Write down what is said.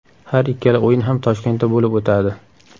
Har ikkala o‘yin ham Toshkentda bo‘lib o‘tadi.